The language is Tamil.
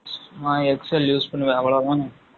XL use பண்ணுவேன். அவ்வளவுதான்